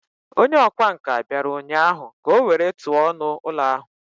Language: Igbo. Onye ọkwá nkà bịara ụnyahụ ka o were tụọ ọnụ ụlọ ahụ